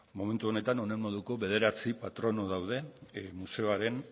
momentu honetan honen moduko bederatzi patrono daude museoaren